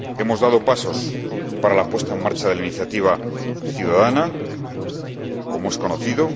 Hemos dado pasos para la puesta en marcha de la iniciativa ciudadana, como es conocido